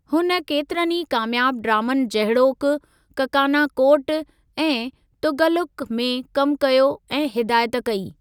हुन केतिरनि ई कामयाबु ड्रामनि जहिड़ोकि ककाना कोट ऐं तुग़ल्लुक़ में कमु कयो ऐं हिदायत कई।